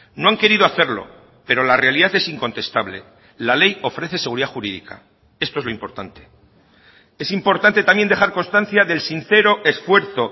no han querido hacerlo pero la realidad es incontestable la ley ofrece seguridad jurídica esto es lo importante es importante también dejar constancia del sincero esfuerzo